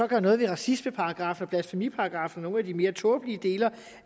gør noget ved racismeparagraffen og blasfemiparagraffen og nogle af de mere tåbelige dele